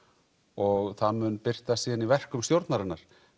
og það mun birtast síðan í verkum stjórnarinnar